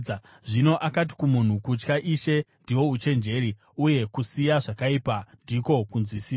Zvino akati kumunhu, ‘Kutya Ishe, ndihwo uchenjeri, uye kusiya zvakaipa ndiko kunzwisisa.’ ”